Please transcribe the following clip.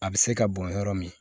A bɛ se ka bɔn yɔrɔ min